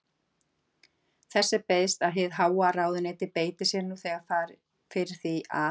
Þess er beiðst, að hið háa ráðuneyti beiti sér nú þegar fyrir því, að